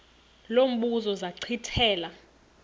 lo mbuzo zachithela